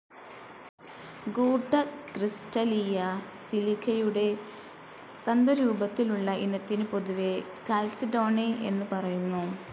ഗൂഢക്രിസ്റ്റലീയ സിലികയുടെ തന്തുരൂപത്തിലുള്ള ഇനത്തിനു പൊതുവേ കാൽസിഡോണി എന്നു പറയുന്നു.